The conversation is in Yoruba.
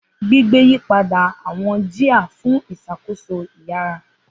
Gbigbe yipada awọn jia fun iṣakoso iyara.